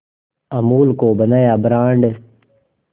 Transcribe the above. अमूल को बनाया ब्रांड